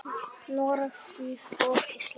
Noreg, Sviss og Ísland.